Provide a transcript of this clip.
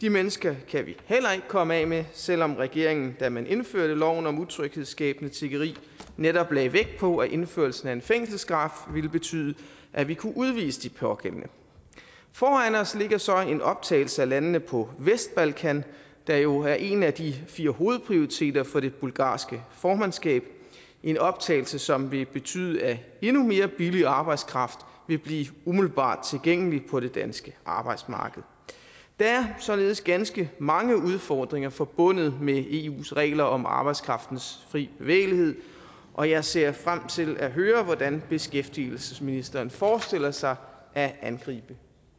de mennesker kan vi heller ikke komme af med selv om regeringen da man indførte loven om utryghedsskabende tiggeri netop lagde vægt på at indførelsen af en fængselsstraf ville betyde at vi kunne udvise de pågældende foran os ligger så en optagelse af landene på vestbalkan der jo er en af de fire hovedprioriteter for det bulgarske formandskab en optagelse som vil betyde at endnu mere billig arbejdskraft vil blive umiddelbart tilgængelig på det danske arbejdsmarked der er således ganske mange udfordringer forbundet med eus regler om arbejdskraftens fri bevægelighed og jeg ser frem til at høre hvordan beskæftigelsesministeren forestiller sig at angribe